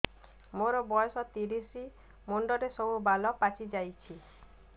ମୋର ବୟସ ତିରିଶ ମୁଣ୍ଡରେ ସବୁ ବାଳ ପାଚିଯାଇଛି